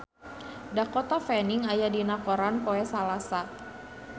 Dakota Fanning aya dina koran poe Salasa